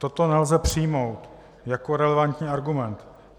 Toto nelze přijmout jako relevantní argument.